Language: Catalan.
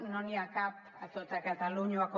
no n’hi ha cap a tota catalunya com